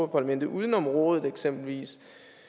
parlamentet uden om rådet eksempelvis